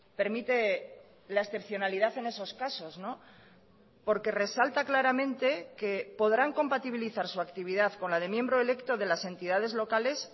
permite la excepcionalidad en esos casos porque resalta claramente que podrán compatibilizar su actividad con la de miembro electo de las entidades locales